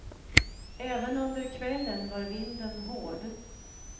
Även under kvällen var vinden hård.